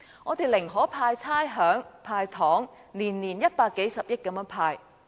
他寧可豁免差餉和"派糖"，每年派發一百數十億元。